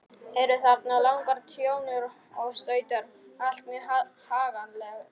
Eru þarna langar trjónur og stautar, allt mjög haganlega gert.